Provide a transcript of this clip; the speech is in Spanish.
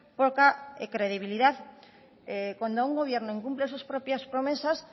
poca credibilidad cuando un gobierno incumple sus propias promesas